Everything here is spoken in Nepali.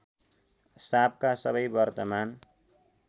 साँपका सबै वर्तमान